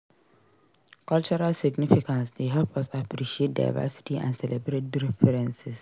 Cultural significance dey help us appreciate diversity and celebrate differences.